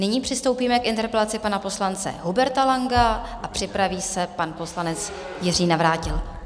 Nyní přistoupíme k interpelaci pana poslance Huberta Langa a připraví se pan poslanec Jiří Navrátil.